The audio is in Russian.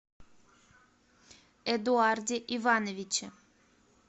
эдуарде ивановиче